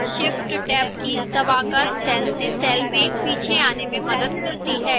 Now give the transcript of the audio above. shift + tab keys दबाकर cell से cell में पीछे आने में मदद मिलती है